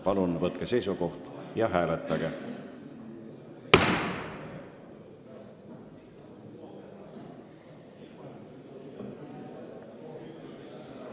Palun võtke seisukoht ja hääletage!